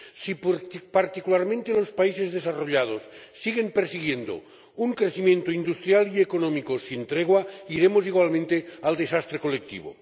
Si particularmente los países desarrollados siguen persiguiendo un crecimiento industrial y económico sin tregua iremos igualmente al desastre colectivo.